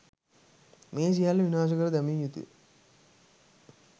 මේ සියල්ල විනාශ කර දැමිය යුතුය